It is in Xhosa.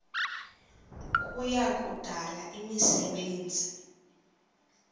kuya kudala imisebenzi